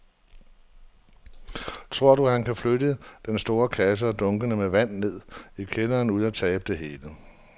Tror du, at han kan flytte den store kasse og dunkene med vand ned i kælderen uden at tabe det hele?